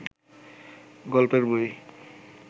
গল্পের বই